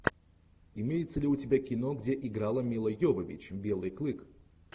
имеется ли у тебя кино где играла мила йовович белый клык